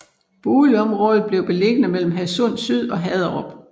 Boligområdet bliver beliggende mellem Hadsund Syd og Haderup